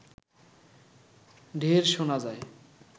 ঢেড় শোনা যায়